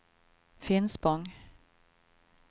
Finspång